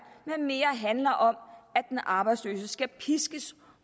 men mere handler om at den arbejdsløse skal piskes